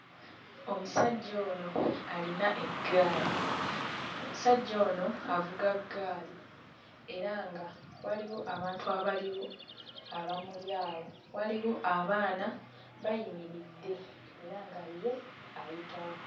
Omusajja ono alina eggaali. Omusajja ono avuga ggaali era nga waliwo abantu abaliwo abamuli awo. Waliwo abaana bayimiridde era nga ye ayitawo.